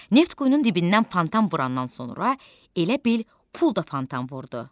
Neft quyunun dibindən fontan vurandan sonra elə bil pul da fontan vurdu.